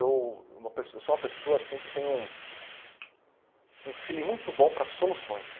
Eu uma pe eu sou uma pessoa assim que tem um feeling muito bom para soluções.